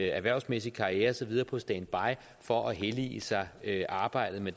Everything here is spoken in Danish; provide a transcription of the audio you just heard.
erhvervsmæssige karriere og så videre på standby for at hellige sig arbejdet med